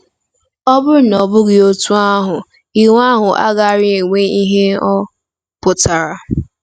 Ọ bụrụ na ọ bụghị otú ahụ, iwu ahụ agaraghị enwe ihe ọ pụtara.